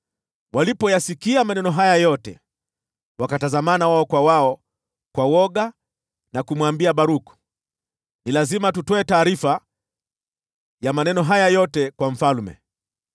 Walipoyasikia maneno hayo yote, wakatazamana wao kwa wao kwa woga na kumwambia Baruku, “Lazima tutoe taarifa ya maneno haya yote kwa mfalme.”